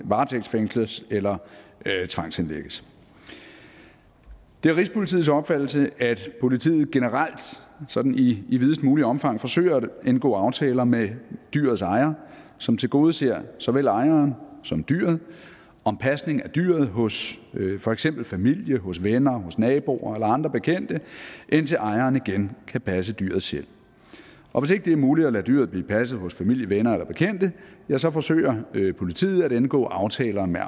varetægtsfængsles eller tvangsindlægges det er rigspolitiets opfattelse at politiet generelt sådan i videst muligt omfang forsøger at indgå aftaler med dyrets ejer som tilgodeser såvel ejeren som dyret om pasning af dyret hos for eksempel familie hos venner hos naboer eller andre bekendte indtil ejeren igen kan passe dyret selv og hvis ikke det er muligt at lade dyret blive passet hos familie venner eller bekendte ja så forsøger politiet at indgå aftaler med